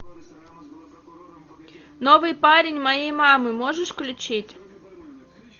новый парень моей мамы можешь включить